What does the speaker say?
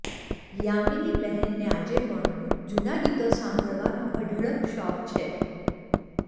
યામિનીબહેનને આજે પણ જૂનાં ગીતો સાંભળવાનો અઢળક શોખ છે